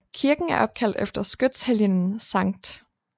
Kirken er opkaldt efter skytshelgenen Skt